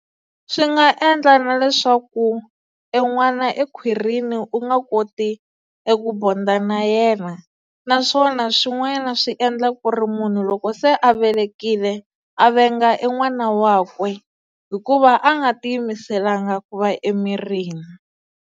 Swi nga endla na leswaku e n'wana ekhwirini u nga koti eku bond-a na yena naswona swin'wanyana swi endla ku ri munhu loko se a velekile a venga e n'wana wakwe hikuva a nga tiyimiselanga ku va emirini.